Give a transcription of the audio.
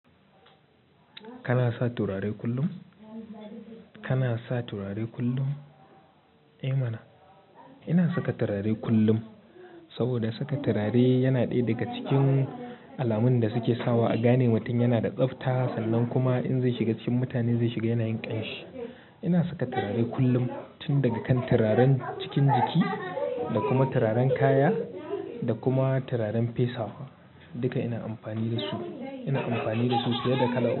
Kana sa turare kullum? Kana sa turare kullum? Eh mana, ina saka turare kullum. Saboda saka turare yana ɗaya daga cikin alamun da suke sawa a gane mutan yana da tsabta, sannan kuma in zai shiga cikin mutane zai shiga yana yin ƙyanshi. Ina saka turare kullum, tun daga kan turaren cikin jiki da kuma turaren kaya da kuma turaren fesawa. Duka ina amfani da su. Ina amfani da su siye da kala'a.